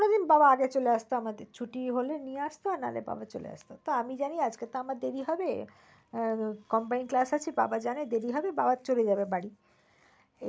কোন দিন বাবা আগে চলে আসত আমাদের ছুটি হলে নিয়ে আসত আর না হলে বাবা চলে আসত। তো আমি জানি আজকে তো আমার দেরি হবে combine class আছে বাবা জানে দেরি হবে বাবা চলে যাবে বাড়ি। এরপরে hall থেকে cinema দেখে বেরিয়েছি।